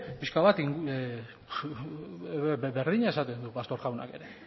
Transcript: pixka bat berdina esaten du pastor jaunak ere